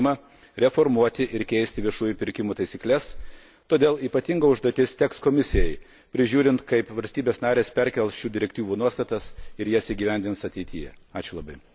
Europos Parlamentas išreiškė aiškų apsisprendimą reformuoti ir keisti viešųjų pirkimų taisykles, todėl ypatinga užduotis teks Komisijai prižiūrint, kaip valstybės narės perkels šių direktyvų nuostatas ir jas įgyvendins ateityje.